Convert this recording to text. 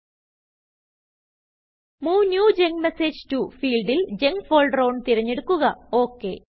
move new junk message toഫീൽഡിൽ junk folder onതിരഞ്ഞെടുക്കുക